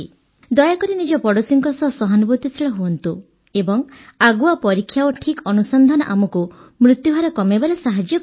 ଦୟାକରି ନିଜ ପଡ଼ୋଶୀଙ୍କ ସହ ସହାନୁଭୂତିଶୀଳ ହୁଅନ୍ତୁ ଏବଂ ଆଗୁଆ ପରୀକ୍ଷା ଓ ଠିକ୍ ଅନୁସନ୍ଧାନ ଆମକୁ ମୃତ୍ୟୁହାର କମାଇବାରେ ସାହାଯ୍ୟ କରିବ